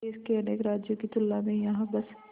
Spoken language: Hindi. देश के अनेक राज्यों की तुलना में यहाँ बस